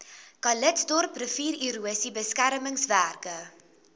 calitzdorp riviererosie beskermingswerke